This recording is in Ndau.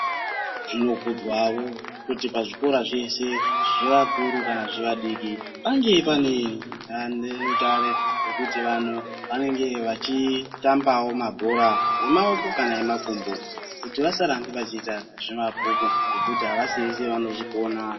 Zvinokudzwawo kuti pazvikora zvese zvevakuru kana zvevadiki pange pane dandemutare rekuti vanhu vanenge vachiitambawo mabhora emaoko kana emakumbo kuti vasarambe vachiita zvemabhuku ngekuti avasi vese vanozvigona.